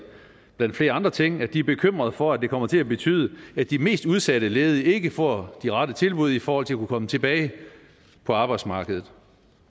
blandt flere andre ting at de er bekymret for at det kommer til at betyde at de mest udsatte ledige ikke får de rette tilbud i forhold til at komme tilbage på arbejdsmarkedet